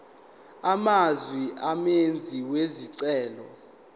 amazwe umenzi wesicelo